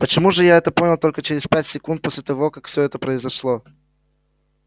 почему же я это понял только через пять секунд после того как все произошло